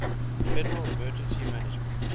federal emergency management